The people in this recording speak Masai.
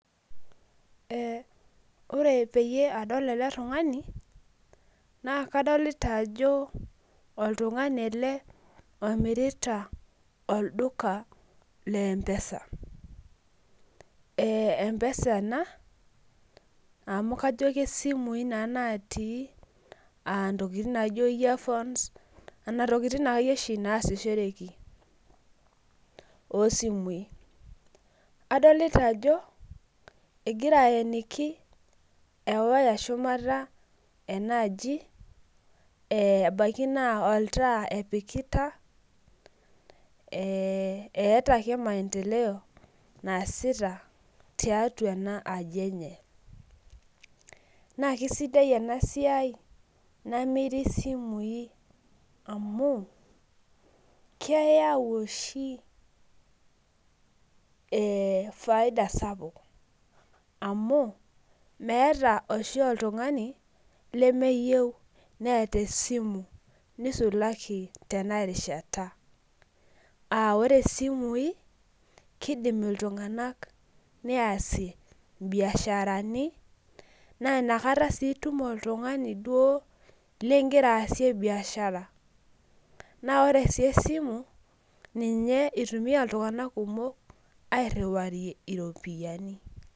Ore padol eletungani nakadolta ajo oltungani elebomirita olduka le empesa empesa ena amu kajo nanu simui natii ntokitin naijo earphones ntokitin oshibnaasishoreki osimui adolta ajo egira aeniki ewaya shumata enaaji ebaki na oltaa epikita eeta ke maendeleo naasita tiatua enaaji enye nakesidai enasiai namiri simui amu keyau oshi faida sapuk amu meeta oshi oltungani nemeyieu neeta esimu nisulaki tenarishata aa ore simui kidim iltunganak neasie biasharani nainakata itum oltungani oduo lingira aasie biashara na ore esimu ninye itumia ltunganak kumok airiwarie ropiyani.